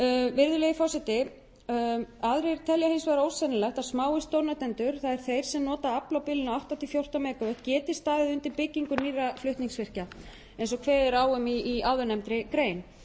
virðulegi forseti aðrir telja ósennilegt að smáir stórnotendur það er þeir sem nota afl á bilinu átta til fjórtán mega vöttum geti staðið undir byggingu nýrra flutningsvirkja eins og kveðið er á um í áðurnefndri grein